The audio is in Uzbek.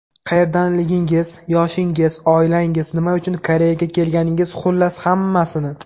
Qayerdanligingiz, yoshingiz, oilangiz, nima uchun Koreyaga kelganingiz xullas hammasini.